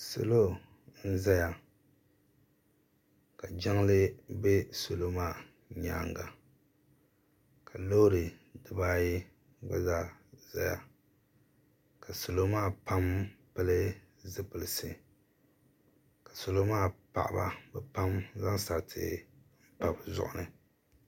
Salɔ n ʒaya ka jiŋli be salɔ maa nyaaŋa. kalɔɔri diba ayi gba zaa ʒaya. ka salɔmaa pam pili zipilisi kasalɔmaa paɣaba ka bɛ zaŋ sariti n pa bɛ zuɣurini